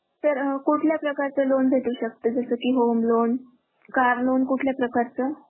sir कुठल्या प्रकारचं loan भेटू शकत जसा की Home LoanCar loan कुठल्या प्रकारचं?